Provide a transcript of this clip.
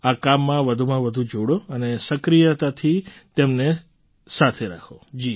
આ કામમાં વધુમાં વધુ જોડો અને સક્રિયતાથી તેમને સાથે રાખો